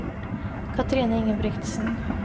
Cathrine Ingebrigtsen